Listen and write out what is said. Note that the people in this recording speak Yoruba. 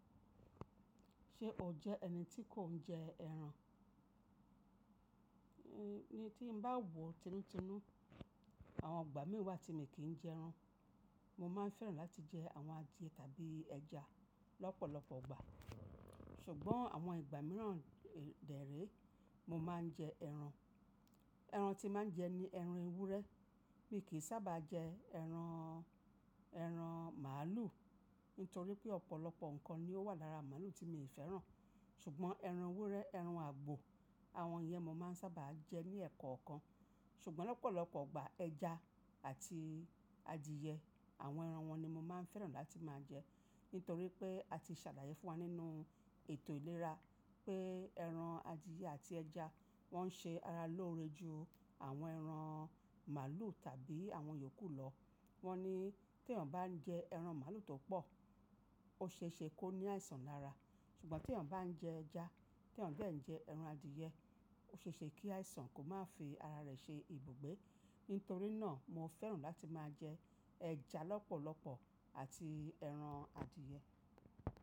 Ṣe o jẹ́ ẹni tí kò ń jẹ ẹran? Ni tí n bá wò títúntínú, àwọn ìgbà mí wà tí mi n kìí jẹ ẹran. Mo máa ń fẹ́ràn láti jẹ àwọn adìẹ tàbí ẹja lọ́pọ̀lọpọ̀ ìgbà, ṣùgbọ́n àwọn ìgbà mìíràn dẹ̀ré, mo máa ń jẹ ẹran. Ẹran tí máa ń jẹ ni ẹran ewúrẹ́. Mi kìí sábà jẹ ẹran, ẹran màlúù nítorí pé ọ̀pọ̀lọpọ̀ ǹkan ni ó wà lára màlúù tí mi ò fẹ́ràn. Ṣùgbọ́n ẹran ewúrẹ́, ẹran àgbò àwọn yẹn mo máa ń sábà jẹ ní ẹ̀ẹ̀kọ̀ọ̀kan. Ṣùgbọ́n lọ́pọ̀lọpọ̀ ìgbà ẹja àti adìẹ àwọn ẹran wọ́n ni mo máa ń fẹ́ràn láti máa jẹ. Nítorí pé a ti sàlàyé fún wa nínú ètò ìlera pé ẹran adìẹ àti ẹja wọ́n ṣe ara lóore ju àwọn ẹran màlúù tàbí àwọn yòókù lọ. Wọ́n ní tí ènìyàn bá ń jẹ ẹran màlúù tó pọ̀, ó ṣe é ṣe kó ní àìsàn lára. Ṣùgbọ́n tí ènìyàn bá ń jẹ ẹja, tí ènìyàn dé ń jẹ ẹran adìẹ, ó ṣe é ṣe kí àìsàn kó má fi ara rẹ̀ ṣe ibùgbé. Nítorí náà mo fẹ́ràn láti máa jẹ ẹja lọ́pọ̀lọpọ̀ àti ẹran adìẹ.